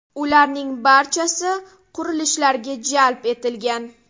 Ularning barchasi qurilishlarga jalb etilgan.